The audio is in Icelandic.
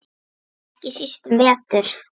Ekki síst um vetur.